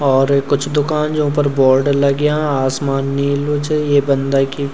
और कुछ दुकान जु फर बोर्ड लग्यां आसमान नीलू च ये बंदा की।